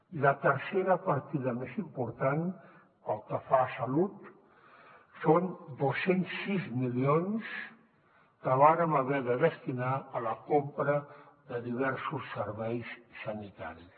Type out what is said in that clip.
i la tercera partida més important pel que fa a salut són dos cents i sis milions que vàrem haver de destinar a la compra de diversos serveis sanitaris